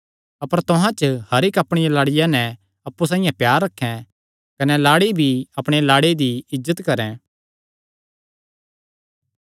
अपर तुहां च हर इक्क अपणिया लाड़िया नैं अप्पु साइआं प्यार रखैं कने लाड़ी भी अपणे लाड़े दा इज्जत करैं